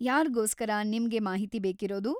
ಯಾರ್ಗೋಸ್ಕರ ನಿಮ್ಗೆ ಮಾಹಿತಿ ಬೇಕಿರೋದು?